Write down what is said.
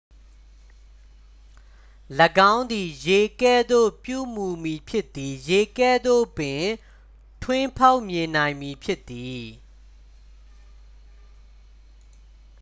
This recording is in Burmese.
"""၎င်းသည်ရေကဲ့သို့ ပြုမူမည်ဖြစ်သည်။ ရေကဲ့သို့ပင် ထွင်းဖောက်မြင်နိုင်မည်ဖြစ်သည်။